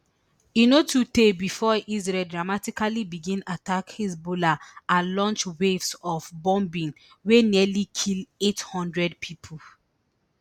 e no too tey bifor israel dramatically begin attack hezbollah and launch waves of bombing wey nearly kill eight hundred pipo